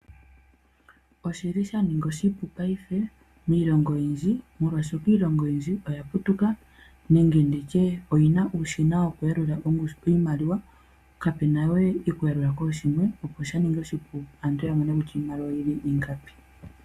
Oshili shaninga oshipu payife miilongo oyindji molwashoka iilongo oyindji oya putuka nenge nditye oyina uushina woku yalula iimaliwa, kapena we okuyalula kooshimwe opo shaningi oshipu aantu ya mone kutya iimaliwa oyili ingapi.